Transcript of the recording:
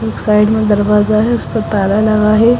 एक साइड में दरवाजा है उसपे ताला लगा है।